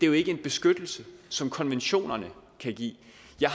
jo ikke en beskyttelse som konventionerne kan give